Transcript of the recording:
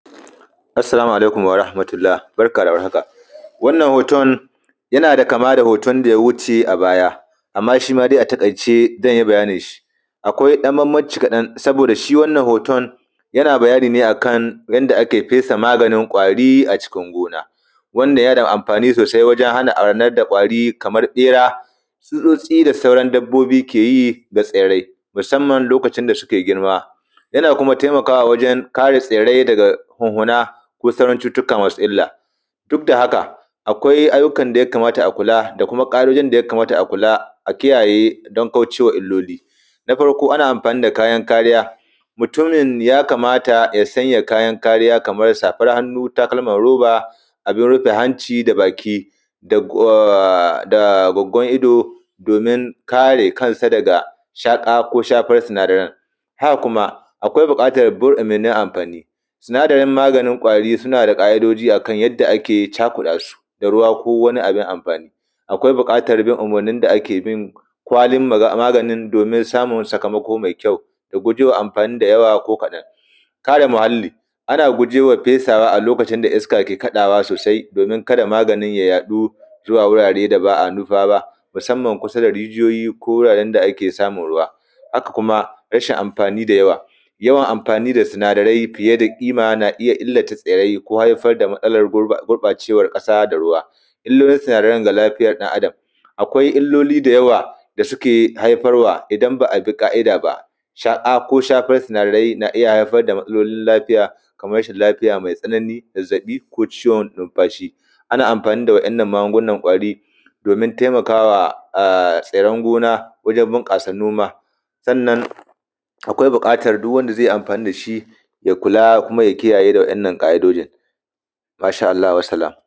Assalamu alaikum warahmatullah, barka da warhaka. Wannan hoton yana da kama da hoton da ya wuce a baya, amma shi ma ga ta ataƙaice zan yi bayanin shi. Akwai ɗan bambanci kaɗan, sabooda shi wannan hoton yana bayani ne akan yanda ake fesa maganin kwari a cikin gona, wanda yana da amfani sosai wajen hana arnar da kwari kamar ɓera, tsutsooci da sauran dabbobi ke yi ba tsirai, musamman lokacin da suke girma. Yana kuma taimakawa wajen kare tsirrai daga hunhuna ko sauran cututtuka masu illa. Duk da haka, akwai ayyukan da yakamata a kula da kuma ƙaidojin da yakamata a kula a kiyaye, don kauce wa illoli. Na farko, ana amfani da kayan kariya. Mutumin yakamata ya saanya kayan kariya kamar safar hannu, da takalman roba, abun rofe hanci da baki, da a gwagwan ido, domin kare kansa daga shaƙa ko shafan sinadaran. Haka kuma akwai burɗe na amfani. Sinadaran maganin kwari suna da ƙaidoji akan yanda ake cakuɗa su da ruwa ko wani abun amfani. Akwai buƙatan bin umurnin da ake bi kwalin maganin, domin samun sakamako mai kyau. Da guje wa amfani da yawa ko kaɗa kare muhalli. Ana guje wa fesawa a lokacin da iska ke taashi sosai, domin kada abin ya yaɗu zuwa wurare da ba a nufa ba, ko kusa da rijiyoyi ko wuraren da ake saamun ruwa. A kuma rasan amfani da yawa. Yawan amfani da sinadarai fiye da ƙima na iya illata tsirrai ko haifar da matsalar gurbacewan ƙasa da ruwa. Illolin sinadaran da lafiyan ɗa adam, akwai illoli da yawa da su ke haifarwa idan ba a bi ƙaida ba. Sha ko shafan sinadarai na iya hazafar da matsalolin lafiya, ko rasan lafiya mai tsanani zazaɓi ko ciwon numfashi. Ana amfani da wajnnan magungunan kwari domin taimakawa a tsirran gona wajen bunƙasa noma. Sanan akwai buƙatan duk wanda ze yi amfani dashi ya kula kuma ya kiyaye da wajnnan ƙaidojin. Mashaa allah. Wassalam.